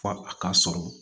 Fɔ a ka sɔrɔ